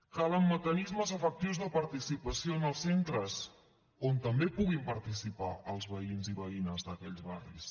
calen mecanismes efectius de participació en els centres on també puguin participar els veïns i veïnes d’aquells barris